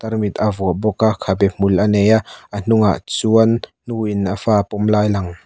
tarmit a vuah bawk a khabe hmul a nei a a hnung ah chuan nu in a fa a pawm lai lang.